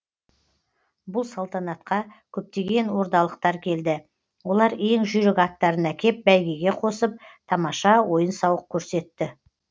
бұл салтанатқа көптеген ордалықтар келді олар ең жүйрік аттарын әкеп бәйгеге қосып тамаша ойын сауық көрсетті